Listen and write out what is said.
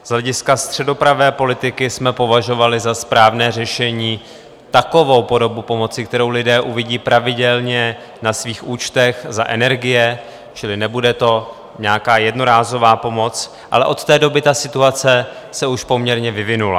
Z hlediska středopravé politiky jsme považovali za správné řešení takovou podobu pomoci, kterou lidé uvidí pravidelně na svých účtech za energie, čili nebude to nějaká jednorázová pomoc, ale od té doby ta situace se už poměrně vyvinula.